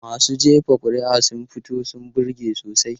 Masu jefa kuri'a sun fito sun burge sosai.